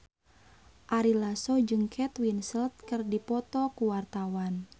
Ari Lasso jeung Kate Winslet keur dipoto ku wartawan